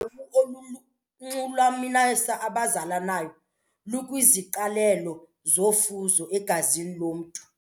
Olulunxulumanisa abazalanayo lukwiziqalelo zofuzo egazini lomntu.